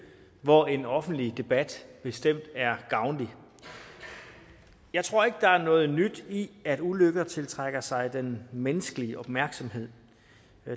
hvor en offentlig debat bestemt er gavnlig jeg tror ikke at der er noget nyt i at ulykker tiltrækker sig den menneskelige opmærksomhed